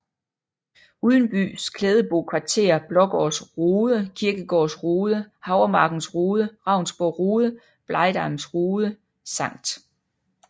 Udenbys Klædebo Kvarter Blaagaards Rode Kirkegaards Rode Havremarkens Rode Ravnsborg Rode Blegdams Rode Skt